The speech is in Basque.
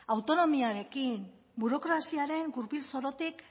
autonomiarekin burokraziaren gurpil zorotik